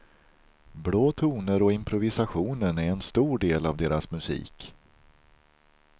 Blå toner och improvisationen är en stor del av deras musik.